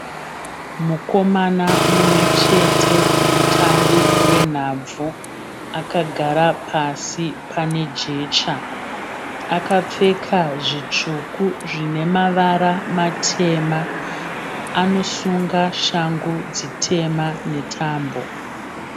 Mukomana mumwe chete mutambi wenhabvu akagara pasi pane jecha. Akapfeka zvitsvuku zvinemavara matema. Anosunga shangu dzitema netambo.